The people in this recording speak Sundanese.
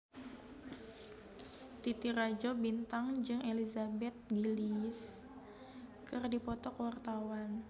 Titi Rajo Bintang jeung Elizabeth Gillies keur dipoto ku wartawan